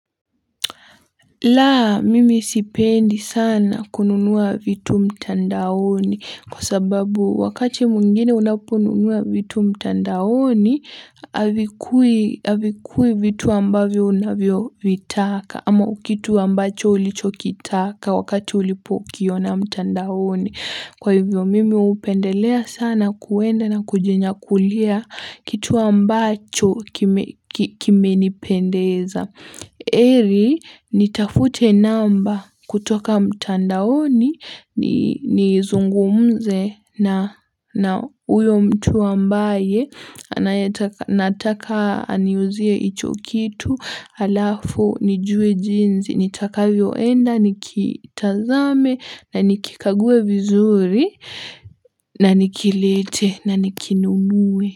Laa mimi sipendi sana kununua vitu mtandaoni kwa sababu wakati mwingine unaponunua vitu mtandaoni havikui vitu ambavyo unavyo vitaka ama kitu ambacho ulichokitaka wakati ulipokiona mtandaoni. Kwa hivyo mimi hupendelea sana kuenda na kujinyakulia kitu ambacho kimenipendeza. heri, nitafute namba kutoka mtandaoni, nizungumze na huyo mtu ambaye, nataka aniuzie hichokitu, halafu, nijue jinsi, nitakavyoenda, nikitazame, nikikague vizuri, na nikilete, na nikinumue.